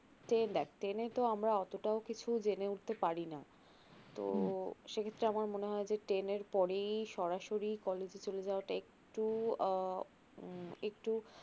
ten এ তো আমরা অতটাও কিছু জেনে উঠতে পারিনা তো সেক্ষেত্রে আমার মনে হয় যে ten এর পরেই সরাসরি college এ চলে যাওয়াটা একটু আহ উম একটু